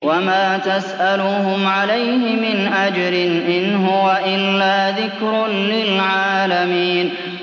وَمَا تَسْأَلُهُمْ عَلَيْهِ مِنْ أَجْرٍ ۚ إِنْ هُوَ إِلَّا ذِكْرٌ لِّلْعَالَمِينَ